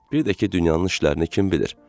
Bir də ki, dünyanın işlərini kim bilir?